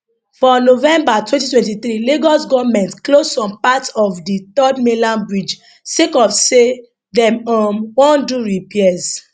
for november 2023 lagos goment close some parts of di third mainland bridge sake of say dem um wan do some repairs